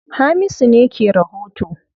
Hamisu ne ke rahoto.